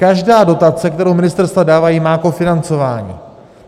Každá dotace, kterou ministerstva dávají, má kofinancování.